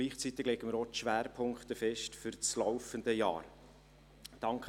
Gleichzeitig legen wir auch die Schwerpunkte für das laufende Jahr fest.